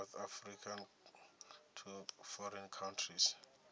south africa to foreign countries